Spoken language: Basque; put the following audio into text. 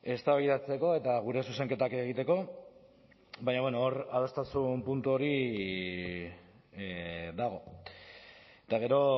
eztabaidatzeko eta gure zuzenketak egiteko baina hor adostasun puntu hori dago eta gero